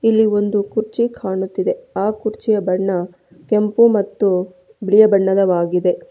ಇಲ್ಲಿ ಒಂದು ಕುರ್ಚಿ ಕಾಣುತ್ತಿದೆ ಆ ಕುರ್ಚಿಯ ಬಣ್ಣ ಕೆಂಪು ಮತ್ತು ಬಿಳಿಯ ಬಣ್ಣದವಾಗಿದೆ.